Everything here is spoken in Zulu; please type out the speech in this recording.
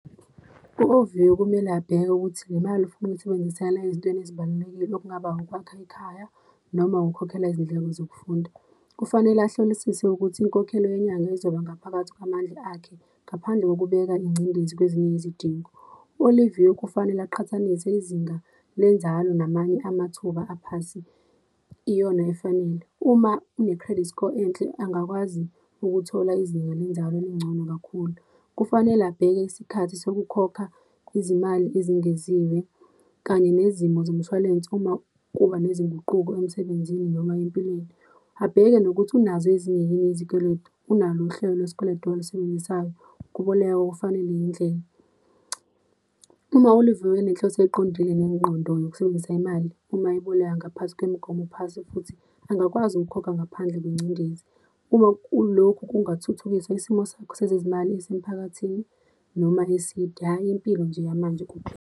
U-Oviwe kumele abheke ukuthi le mali ufuna ukuyisebenzisela ezintweni ezibalulekile okungaba ukwakha ikhaya, noma ukukhokhela izindleko zokufunda. Kufanele ahlolisise ukuthi inkokhelo yenyanga izoba ngaphakathi kwamandla akhe, ngaphandle kokubeka ingcindezi kwezinye izidingo. ULiviwe kufanele aqhathanise izinga lenzalo namanye amathuba aphasi, iyona efanele. Uma une-credit score enhle, angakwazi ukuthola izinga lenzalo elingcono kakhulu. Kufanele abheke isikhathi sokukhokha izimali ezingeziwe, kanye nezimo zomshwalense uma kuba nezinguquko emsebenzini noma empilweni. Abheke nokuthi unazo ezinye yini izikweletu, unalo uhlelo lwesikweletu alisebenzisayo, ukuboleka kufanele yindlela. Uma uLiviwe enenhloso eqondile nengqondo yokusebenzisa imali, uma eboleka ngaphasi kwemigomo phasi futhi, angakwazi ukukhokha ngaphandle kwengcindezi. Uma kulokhu kungathuthukisa isimo sakho sezezimali yasemphakathini noma eside, hhayi impilo nje yamanje kuphela.